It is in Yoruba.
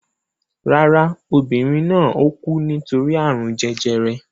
Rárá, obìnrin náà ò kú nítorí àrùn jẹjẹrẹ